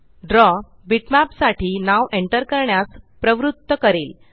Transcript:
द्रव बिटमॅप साठी नाव एन्टर करण्यास प्रवृत्त करेल